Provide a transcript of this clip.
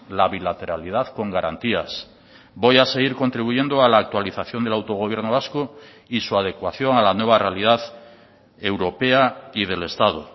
la bilateralidad con garantías voy a seguir contribuyendo a la actualización del autogobierno vasco y su adecuación a la nueva realidad europea y del estado